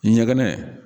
Ɲɛgɛn